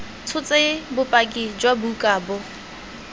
tshotse bopaki jwa buka bo